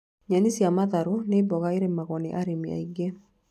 Nyeni cia matharũ nĩ mboga ĩrĩmagwo nĩ arĩmi aingĩ